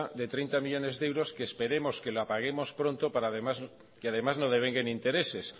de treinta millónes de euros que esperemos que la paguemos pronto y además no devenguen intereses